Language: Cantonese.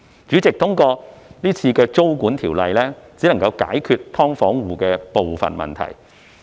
主席，這次租管的修例只能解決"劏房戶"的部分問題。